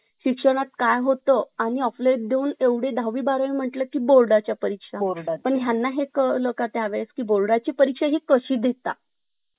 विसरता येत नाही. माझ्यासोबत असेच काहीसे घडले. ज्यामुळे आमचे पालक आम्हाला आमच्या लहानपणीची आठवण